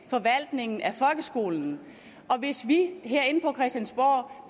forvaltningen af folkeskolen og hvis vi herinde på christiansborg